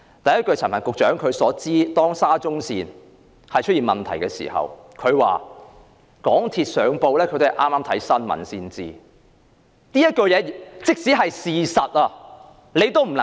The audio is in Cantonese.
第一，當陳帆局長談到沙中線問題的時候，他說自己也是剛從新聞報道得知道港鐵出了事故。